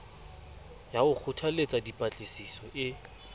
ya ho kgothalletsa dipatlisiso e